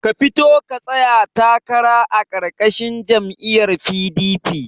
Ka fito ka tsaya takara a karkashin jam'iyar PDP